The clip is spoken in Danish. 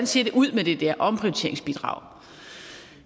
ser ud med det der omprioriteringsbidrag